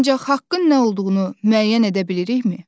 Ancaq haqqın nə olduğunu müəyyən edə bilirikmi?